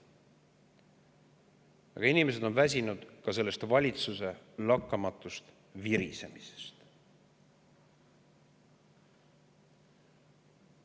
Aga inimesed on väsinud ka valitsuse lakkamatust virisemisest.